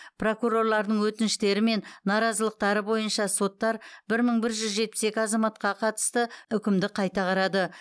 прокурорлардың өтініштері мен наразылықтары бойынша соттар бір мың бір жүз жетпіс екі азаматқа қатысты үкімді қайта қарады